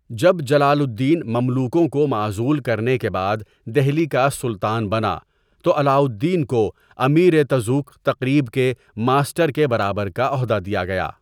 جب جلال الدین مملوکوں کو معزول کرنے کے بعد دہلی کا سلطان بنا تو علاؤالدین کو امیرِ تزوک تقریب کے ماسٹر کے برابر کا عہدہ دیا گیا.